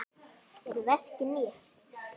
Eru verkin ný?